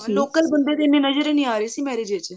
local ਬੰਦੇ ਤਾਂ ਇੰਨੇ ਨਜ਼ਰ ਹੀ ਨਹੀ ਆ ਰਹੇ ਸੀ marriage ਵਿੱਚ